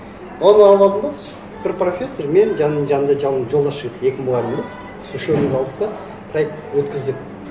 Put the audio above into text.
оны алып алдым да бір профессор мен жанымда жолдас жігіт екі мұғалімбіз сол үшеуіміз алдық та проект өткіздік